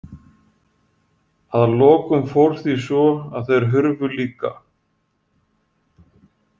Að lokum fór því svo að þeir hurfu líka.